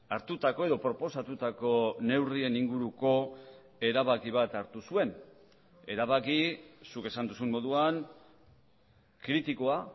hartutako edo proposatutako neurrien inguruko erabaki bat hartu zuen erabaki zuk esan duzun moduan kritikoa